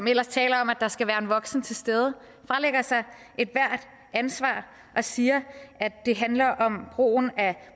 ellers taler om at der skal være en voksen til stede fralægger sig ethvert ansvar og siger at det handler om brugen af